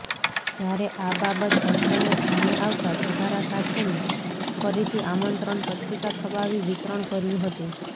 જયારે આ બાબત તંત્રને ધ્યાને આવતા સુધારા સાથેની ફરીથી આમંત્રણ પત્રિકા છપાવી વિતરણ કર્યું હતું